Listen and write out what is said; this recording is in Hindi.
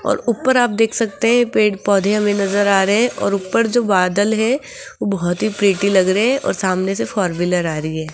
और ऊपर आप देख सकते है पेड़-पौधे हुए नजर आ रहे है और ऊपर जो बादल है बहोत ही प्रेटी लग रहे है और सामने से फोर-व्हीलर आ रही है।